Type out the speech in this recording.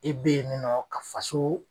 I beyininɔ ka faso.